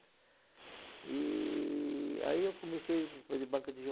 E... aí eu comecei banca de